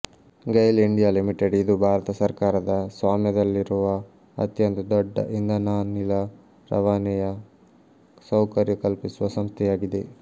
GAIL India Limited ಇದು ಭಾರತ ಸರ್ಕಾರದ ಸ್ವಾಮ್ಯದಲ್ಲಿರುವ ಅತ್ಯಂತ ದೊಡ್ಡ ಇಂಧನಾನಿಲ ರವಾನೆಯ ಸೌಕರ್ಯ ಕಲ್ಪಿಸುವ ಸಂಸ್ಥೆಯಾಗಿದೆ